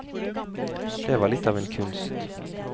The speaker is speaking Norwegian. Det var litt av en kunst.